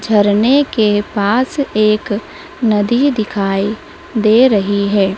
झरने के पास एक नदी दिखाई दे रही है।